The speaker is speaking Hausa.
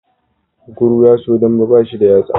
Kunkuru yaso dambe bashi da yatsa